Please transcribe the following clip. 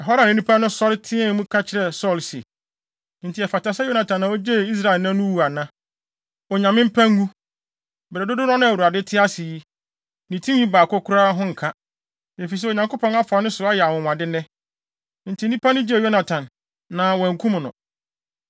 Ɛhɔ ara na nnipa no sɔre teɛɛ mu ka kyerɛɛ Saulo se, “Enti ɛfata sɛ Yonatan a ogyee Israel nnɛ no wu ana? Onyame mpa ngu. Bere dodow no a Awurade te ase yi, ne tinwi baako koraa ho nka, efisɛ Onyankopɔn afa ne so ayɛ anwonwade nnɛ.” Enti nnipa no gyee Yonatan, na wɔankum no.